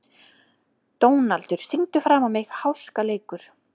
Dónaldur, syngdu fyrir mig „Háskaleikur“.